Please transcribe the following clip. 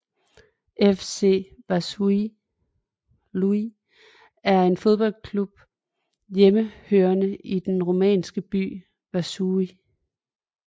FC Vaslui er en fodboldklub hjemmehørende i den rumænske by Vaslui